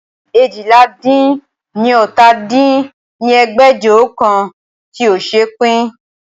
eéjìlá-dín-ní-ọ́ta dín ní ẹgbẹ́jọ òǹkà tí ó ṣe pín